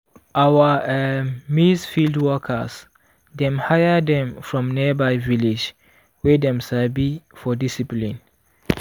our um maize field workers dem hire them from nearby village wey dem sabi for discipline.